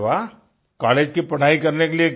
अरे वाह तो आप कॉलेज की पढाई करने के लिए